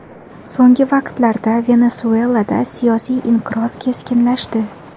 So‘nggi vaqtlarda Venesuelada siyosiy inqiroz keskinlashdi.